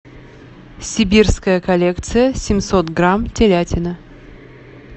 сибирская коллекция семьсот грамм телятина